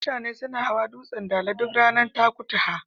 Mutane suna hawa dutsen Dala duk ranar Takutaha.